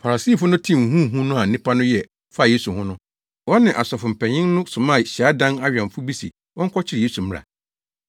Farisifo no tee huhuhuhu no a nnipa no yɛ faa Yesu ho no, wɔne asɔfo mpanyin no somaa hyiadan awɛmfo bi se wɔnkɔkyere Yesu mmra.